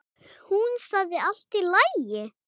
Hún sagði allt í lagi.